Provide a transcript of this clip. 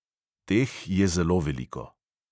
Teh je zelo veliko.